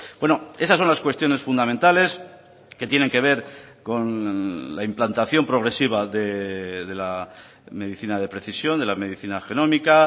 bueno esas son las cuestiones fundamentales que tienen que ver con la implantación progresiva de la medicina de precisión de la medicina genómica